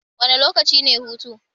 Wane lokaci ne hutu?